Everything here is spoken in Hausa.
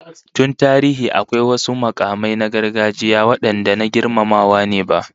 Tun tarihi, akwai wasu mukamai na gargajiya wadanda na girmamawa ne ba